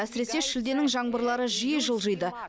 әсіресе шілденің жаңбырлары жиі жылжиды